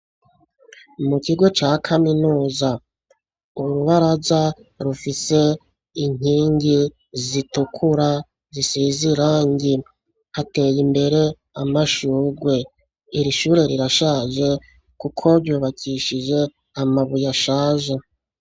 Mu kigo ca kaminuza urubaraza rufise inkingi zitukura zisize irangi, hateye imbere amashurwe. Iri ishure rirashaje kuko ryubakishije amabuye ashaje.